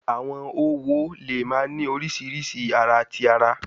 Awọn õwo le wa ni oriṣiriṣi ara ti ara